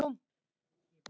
Heimili ömmu.